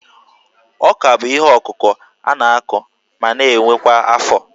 Ọ́kà bụ ihe ọkụkụ a na-akụ ma na-ewe kwa afọ